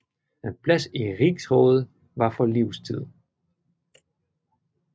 En plads i rigsrådet var for livstid